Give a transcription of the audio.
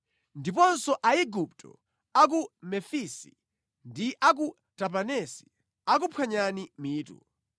Ndiponso Aigupto a ku Mefisi ndi a ku Tapanesi akuphwanyani mitu.